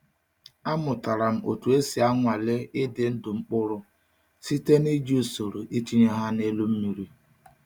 Amụtara m otu esi anwale ịdị ndụ mkpụrụ site n’iji usoro itinye ha n’elu mmiri.